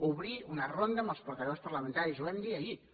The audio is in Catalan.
obrir una ronda amb els portaveus parlamentaris ho vam dir ahir